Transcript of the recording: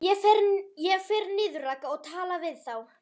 Ég fer niður, Ragga, og tala við þá!